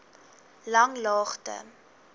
langlaagte